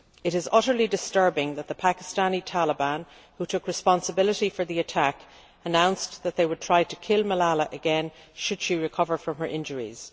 It is utterly disturbing that the Pakistani Taliban, who took responsibility for the attack, announced that they would try to kill Malala again should she recover from her injuries.